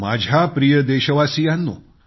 माझ्या प्रिय देशवासियांनो